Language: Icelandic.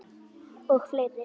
Og fleiri.